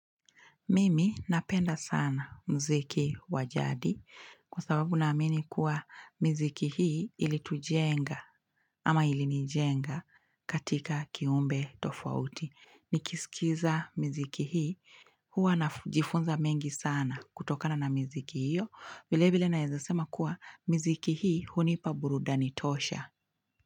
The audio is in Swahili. Mimi napenda sana mziki wajadi kwa sababu na amini kuwa miziki hii ili tujenga ama ilinijenga katika kiumbe tofauti. Nikisikiza miziki hii huwa najifunza mengi sana kutokana na miziki hiyo. Vile vile naeza sema kuwa miziki hii hunipa burudani tosha.